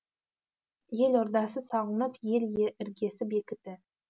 ел ордасы салынып ел іргесі бекіді